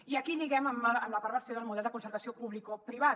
i aquí lliguem amb la perversió del model de concertació publicoprivat